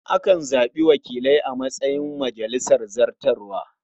Akan zaɓi wakilai a matsayin majalisar zartarwa.